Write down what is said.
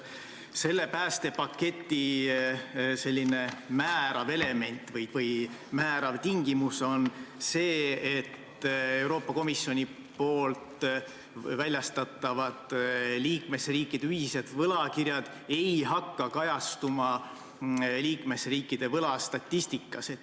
Selle päästepaketi määrav element või määrav tingimus on see, et Euroopa Komisjoni väljastatavad liikmesriikide ühised võlakirjad ei hakka kajastuma liikmesriikide võlastatistikas.